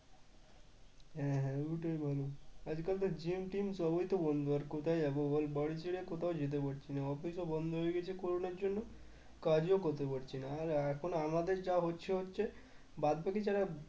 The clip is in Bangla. হ্যাঁ হ্যাঁ ওটাই ভালো আজকাল তো gym টিম সবই তো বন্ধ আর কোথায় যাব বল বাড়ি ছেড়ে কোথাও যেতে পারছি না office ও বন্ধ হয়ে গেছে করুণার জন্য কাজও করতে পারছি না আর এখন আমাদের যা হচ্ছে হচ্ছে বাদবাকি যারা